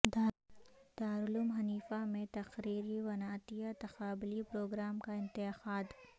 دارالعلوم حنیفہ میں تقریری ونعتیہ تقابلی پروگرام کا انعقاد